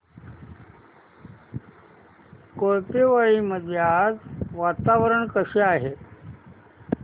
कोळपेवाडी मध्ये आज वातावरण कसे आहे